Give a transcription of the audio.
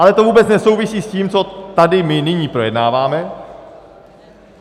Ale to vůbec nesouvisí s tím, co tady my nyní projednáváme.